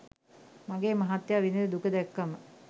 මගේ මහත්තයා විඳින දුක දැක්කම